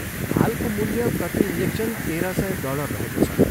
हालको मूल्य प्रति इन्जेक्सन तेह्र सय डलर रहेको छ।